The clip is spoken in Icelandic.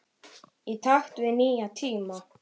Í takt við nýja tíma.